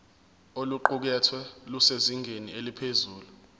oluqukethwe lusezingeni eliphezulu